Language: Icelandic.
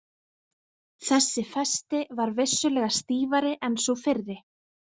Þessi festi var vissulega stífari en sú fyrri.